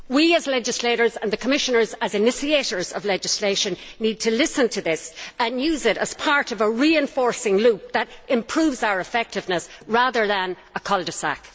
We as legislators, and the Commissioners as initiators of legislation, need to listen to this and use it as part of a reinforcing loop that improves our effectiveness rather than a cul de sac.